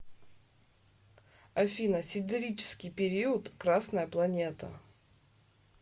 афина сидерический период красная планета